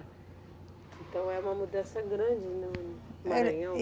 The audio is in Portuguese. Então é uma mudança grande no, no